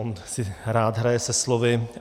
On si rád hraje se slovy.